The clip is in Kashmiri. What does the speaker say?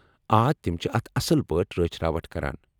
آ، تم چھِ اتھ اصل پٲٹھۍ رٲچھ راوٹھ کران۔